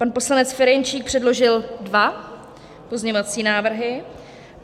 Pan poslanec Ferjenčík předložil dva pozměňovací návrhy.